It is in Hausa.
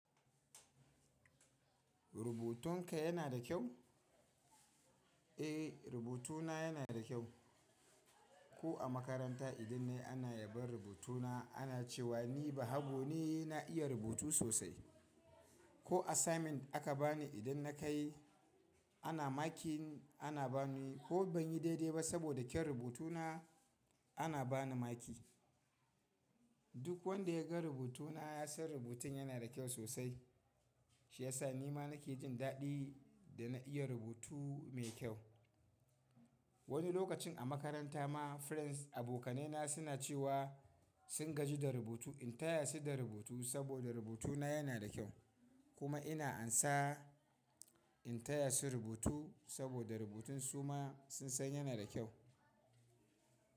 Rubutunka yana da kyau? Eh, rubutuna yana da kyau. Ko a makaranta idan nayi ana yabon rubutuna ana cewa ni bahago ne na iya rubutu sosai. Ko assignment aka bani idan na kai ana makin ana bani ko ban yi daidai ba saboda kyan rubutuna ana bani maki. Duk wanda ya ga rubutuna ya san rubutun yana da kyau sosai. Shi ya sa ni ma nake jin daɗi da na iya rubutu mai kyau. Wani lokacin a makaranta ma friends abokanaina suna cewa sun gaji da rubutu in taya su da rubutu saboda rubutuna yana da kyau. Kuma ina amsa in taya su rubutu saboda rubutun su ma sun san yana da kyau.